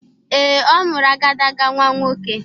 Ee, ọ mụrụ agadaga nnwa nwoke.